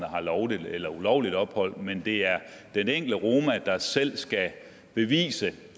har lovligt eller ulovligt ophold men det er den enkelte roma der selv skal bevise